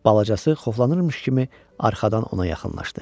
Balacası xoflanırmış kimi arxadan ona yaxınlaşdı.